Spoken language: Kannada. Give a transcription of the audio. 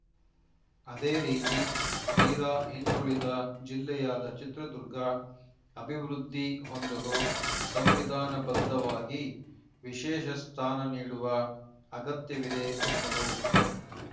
ಅದೇ ರೀತಿ ತೀರಾ ಹಿಂದುಳಿದ ಜಿಲ್ಲೆಯಾದ ಚಿತ್ರದುರ್ಗ ಅಭಿವೃದ್ಧಿ ಹೊಂದಲು ಸಂವಿಧಾನಬದ್ಧವಾಗಿ ವಿಶೇಷ ಸ್ಥಾನ ನೀಡುವ ಅಗತ್ಯವಿದೆ ಎಂದರು